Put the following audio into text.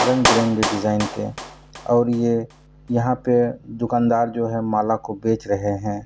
रंग-बिरंगे डिजाइन के और ये यहाँ पे दुकानदार जो है माला को बेच रहे हैं |